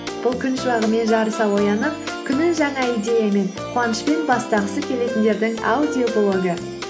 бұл күн шуағымен жарыса оянып күнін жаңа идеямен қуанышпен бастағысы келетіндердің аудиоблогы